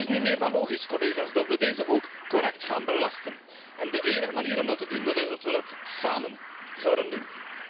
Het is dus niet meer dan logisch, collega's, dat we deze ook correct gaan belasten, en de enige manier om dat te doen is dat we dat samen zouden doen.